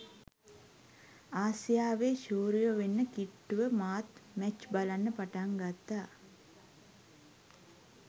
ආසියාවෙ ශූරයො වෙන්න කිට්ටුව මාත් මැච් බලන්න පටන් ගත්ත.